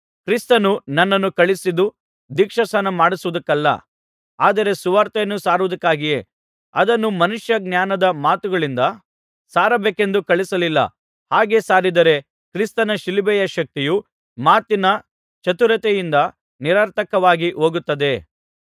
ಕ್ರಿಸ್ತನು ನನ್ನನ್ನು ಕಳುಹಿಸಿದ್ದು ದೀಕ್ಷಾಸ್ನಾನಮಾಡಿಸುವುದಕ್ಕಲ್ಲ ಆದರೆ ಸುವಾರ್ತೆಯನ್ನು ಸಾರುವುದಕ್ಕಾಗಿಯೇ ಅದನ್ನು ಮನುಷ್ಯಜ್ಞಾನದ ಮಾತುಗಳಿಂದ ಸಾರಬೇಕೆಂದು ಕಳುಹಿಸಲಿಲ್ಲ ಹಾಗೆ ಸಾರಿದರೆ ಕ್ರಿಸ್ತನ ಶಿಲುಬೆಯ ಶಕ್ತಿಯು ಮಾತಿನ ಚತುರತೆಯಿಂದ ನಿರರ್ಥಕವಾಗಿ ಹೋಗುತ್ತದೆ